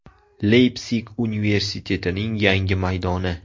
Leypsig universitetining yangi maydoni.